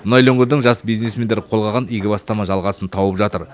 мұнайлы өңірдің жас бизнесмендері қолға алған игі бастама жалғасын тауып жатыр